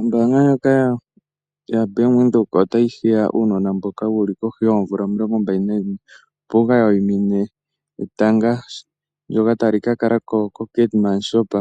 Ombanga ndjoka yaBank Windhoek otayi hiya uunona mboka wuli kohi yoomvula omilongo mbali nayimwe. Opo wuka wayimine etanga ndjoka tali ka kalako koKaiti